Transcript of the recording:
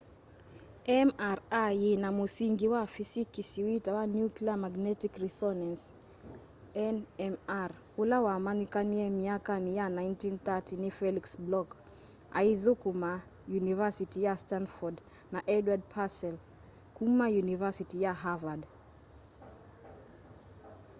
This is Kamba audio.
mri yina mũsingĩ wa fisikisi witawa nuclear magnetic resonance nmr ula wamanyikanie myakani ya 1930 ni felix bloch aithukuma yunivasiti ya stanford na edward purcell kuma yunivasiti ya harvard